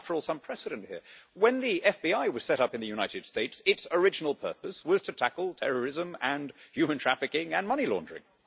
There is, after all, some precedent here. When the FBI was set up in the United States its original purpose was to tackle terrorism and human trafficking and money laundering.